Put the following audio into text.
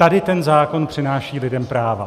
Tady ten zákon přináší lidem práva.